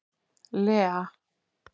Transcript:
Lea